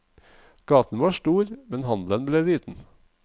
Gaten var stor, men handelen ble liten.